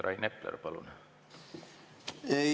Rain Epler, palun!